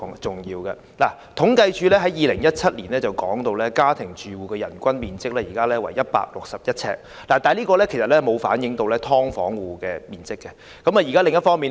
政府統計處在2017年公布，香港家庭住戶的人均居住面積為161平方呎，但這個數字並未計算"劏房"住戶的居住面積。